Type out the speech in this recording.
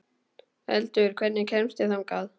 Eldur, hvernig kemst ég þangað?